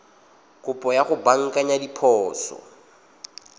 kopo ya go baakanya diphoso